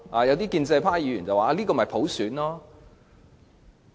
有些建制派議員更說，這就是普選。